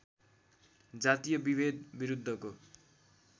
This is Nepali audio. जातीय विभेद विरुद्धको